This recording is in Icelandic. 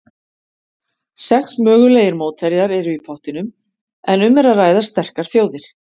Sex mögulegir mótherjar eru í pottinum en um er að ræða sterkar þjóðir.